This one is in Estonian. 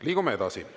Liigume edasi.